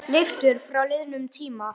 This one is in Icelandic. Leiftur frá liðnum tíma.